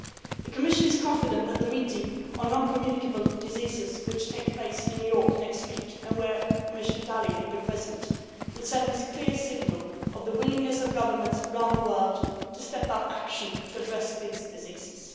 The Commission is confident that the meeting on non communicable diseases which will take place in New York next week, and where Commissioner Dalli will be present, will send a clear signal of the willingness of governments around the world to step up action to address these diseases.